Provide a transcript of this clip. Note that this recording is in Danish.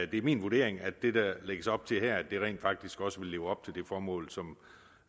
det er min vurdering at det der lægges op til her rent faktisk også vil leve op til det formål som